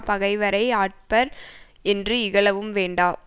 பகைவரை அற்பர் என்று இகழவும் வேண்டா